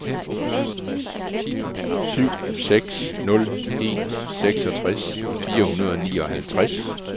syv seks nul en seksogtres fire hundrede og nioghalvtreds